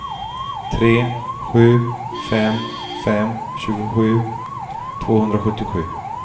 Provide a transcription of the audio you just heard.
tre sju fem fem tjugosju tvåhundrasjuttiosju